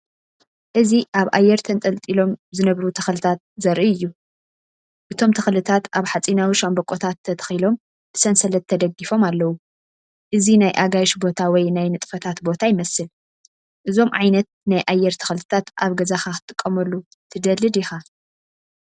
እዚ ኣብ ኣየር ተንጠልጢሎም ዝነበሩ ተኽልታት ዘርኢ እዩ። እቶም ተኽልታት ኣብ ሓጺናዊ ሻምብቆታት ተተኺሎም ብሰንሰለት ተደጊፎም ኣለው። እዚ ናይ ኣጋይሽ ቦታ ወይ ናይ ንጥፈታት ቦታ ይመስል። እዞም ዓይነት ናይ ኣየር ተኽልታት ኣብ ገዛኻ ክትጥቀመሉ ትደሊ ዲኻ?